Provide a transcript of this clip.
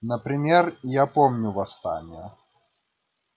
например я помню восстание